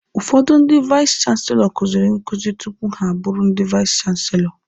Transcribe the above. Ụfọdụ ndị vais chanselọ kuziri nkuzi tupu ha abụrụ ndị vais chanselọ